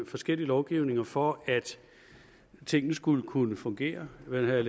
forskellige lovgivninger for at tingene skulle kunne fungere man havde